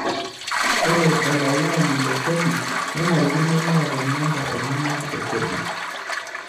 Ore olalaani le kodi nenarikino neeta namba enyana e kodi.